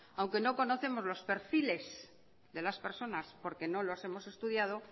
aunque no conocemos los perfiles de las personas porque no lo hemos estudiado